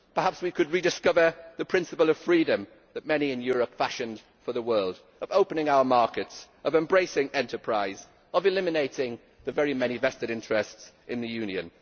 Perhaps we could rediscover the principle of freedom that many in Europe fashioned for the world, of opening our markets, of embracing enterprise, of eliminating the many vested interests in the Union.